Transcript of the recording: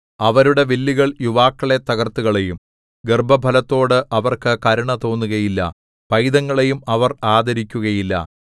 അവരുടെ വില്ലുകൾ യുവാക്കളെ തകർത്തുകളയും ഗർഭഫലത്തോട് അവർക്ക് കരുണ തോന്നുകയില്ല പൈതങ്ങളെയും അവർ ആദരിക്കുകയില്ല